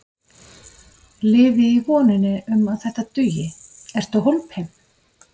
Lifi í voninni um að þetta dugi Ertu hólpinn?